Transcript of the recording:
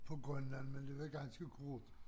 På Grønland men det var ganske kort